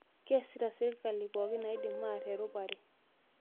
Keesita serkali pookin naidim arr erupare